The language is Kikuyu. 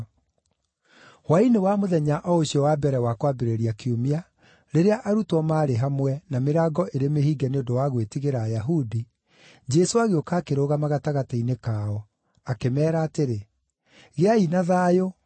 Hwaĩ-inĩ wa mũthenya o ũcio wa mbere wa kwambĩrĩria kiumia, rĩrĩa arutwo maarĩ hamwe, na mĩrango ĩrĩ mĩhinge nĩ ũndũ wa gwĩtigĩra Ayahudi, Jesũ agĩũka akĩrũgama gatagatĩ-inĩ kao, akĩmeera atĩrĩ, “Gĩai na thayũ!”